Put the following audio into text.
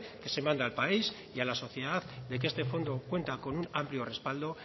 que se manda al país y a la sociedad de que este fondo cuenta con amplio respaldo